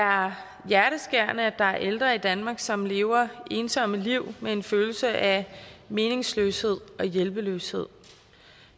er hjerteskærende at der er ældre i danmark som lever ensomme liv med en følelse af meningsløshed og hjælpeløshed